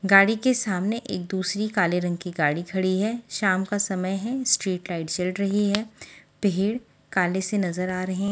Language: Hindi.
गाड़ी के सामने एक दूसरी काली रंग की गाड़ी खड़ी है शाम का समय है स्ट्रीट लाईट जल रही है पेड़ काले से नज़र आ रहे --